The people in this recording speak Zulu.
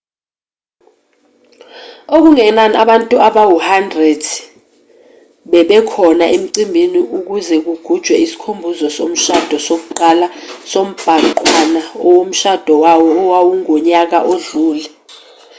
okungenani abantu abawu-100 babekhona emcimbini ukuze kugujwe isikhumbuzo somshado sokuqala sombhanqwana omshado wawo wawungonyaka odlule